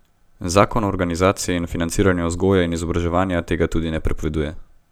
Zakon o organizaciji in financiranju vzgoje in izobraževanja tega tudi ne prepoveduje.